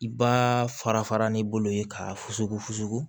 I b'aa fara fara n'i bolo ye k'a fusugu fugu